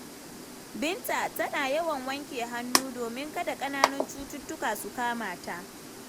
Binta tana yawan wanke hannu domin kada ƙananan cututtuka su kama ta.